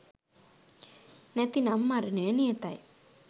නැතිනම් මරණය නියතයි.